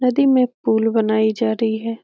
नदी में पुल बनाई जा रही है।